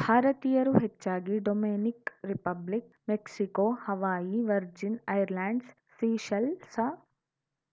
ಭಾರತೀಯರು ಹೆಚ್ಚಾಗಿ Dominican Republic Mexico Hawaii Virgin Islands seashell ಸಾ